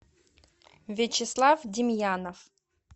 вячеслав демьянов